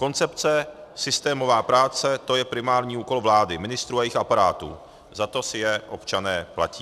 Koncepce, systémová práce, to je primární úkol vlády, ministrů a jejich aparátů, za to si je občané platí.